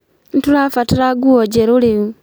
Nĩtũrabatara nguo njerũ rĩu